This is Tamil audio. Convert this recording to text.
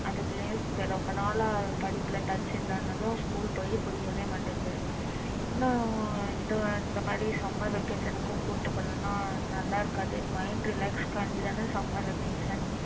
அதுக்குள்ளயும் ரொம்ப நாலா படிப்புல இல்லன்னு சொன்னதும் school நா இதை இந்த மாதிரி summer vacation க்கும் கூட்டிட்டு போலன்னா நல்லா இருக்காது mind relax க்காக தான summer vacation